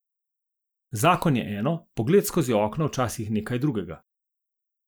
Zakon je eno, pogled skozi okno včasih nekaj drugega.